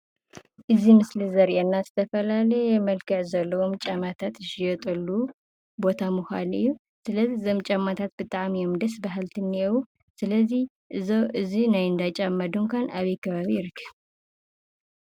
እዚ ምስሊ ዘርእየና ዝተፈላለየ መልክዕ ዘለዎም ጫማታት ዝሽየጠሉ ቦታ ምኳኑ እዩ። ስለዚ እዞም ጫማታት ብጣዕሚ እዮም ደስ በሃልቲ እኒሀው። ስለዚ እዚ ናይ እንዳ ጫማ ድንኳን አበይ ከባቢ ይርከብ?